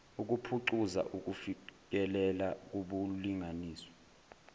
ukuphucuza ukufikelela kubulungiswa